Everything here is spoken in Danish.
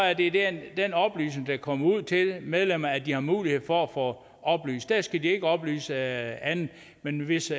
er det det den oplysning der kommer ud til medlemmerne at de har mulighed for at få oplyst der skal de ikke oplyse andet men hvis